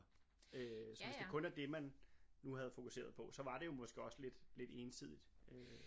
øh så hvis det kun er det man nu havde fokuseret på så var det jo måske også lidt lidt ensidigt øh